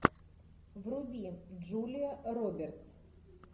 вруби джулия робертс